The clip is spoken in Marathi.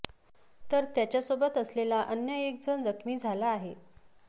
तर त्याच्यासोबत असलेला अन्य एक जण जखमी झाला आहे